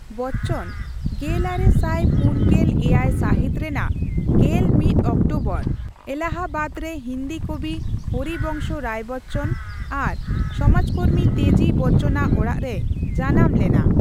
ᱵᱚᱪᱪᱚᱱ ᱜᱮᱞᱟᱨᱮ ᱥᱟᱭ ᱯᱩᱱ ᱜᱮᱞ ᱮᱭᱟᱭ ᱥᱟᱦᱤᱛ ᱨᱮᱱᱟ ᱜᱮᱞ ᱢᱤᱛ ᱚᱠᱴᱳᱵᱚᱨ ᱮᱞᱟᱦᱟᱵᱟᱫ ᱨᱮ ᱦᱤᱱᱫᱤ ᱠᱚᱵᱤ ᱦᱚᱨᱤᱵᱚᱝᱥᱚ ᱨᱟᱭ ᱵᱚᱪᱪᱚᱱ ᱟᱨ ᱥᱚᱢᱟᱡᱠᱚᱨᱢᱤ ᱛᱮᱡᱤ ᱵᱚᱪᱪᱚᱱᱟᱜ ᱚᱲᱟᱜ ᱨᱮᱭ ᱡᱟᱱᱟᱢ ᱞᱮᱱᱟ ᱾